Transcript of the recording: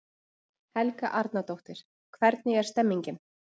Helga Arnardóttir: Hvernig er stemmningin?